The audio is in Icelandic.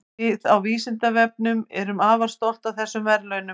Við á Vísindavefnum erum afar stolt af þessum verðlaunum.